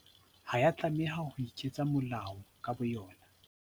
Ha ya tlameha ho iketsa molao ka bo yona.